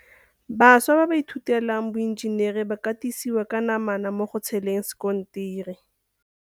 Bašwa ba ba ithutelang boenjenere ba katisiwa ka namana mo go tsheleng sekontiri.